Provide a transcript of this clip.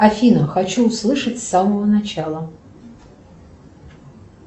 афина хочу услышать с самого начала